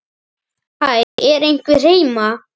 Hæ, er einhver heima?